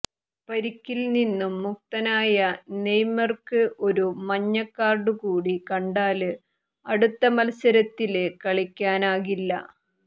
പരിക്കില്നിന്നും മുക്തനായ നെയ്മര്ക്ക് ഒരു മഞ്ഞക്കാര്ഡുകൂടി കണ്ടാല് അടുത്ത മത്സരത്തില് കളിക്കാനാകില്ല